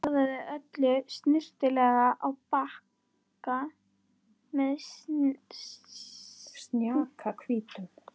Raðaði öllu snyrtilega á bakka með snjakahvítum dúk.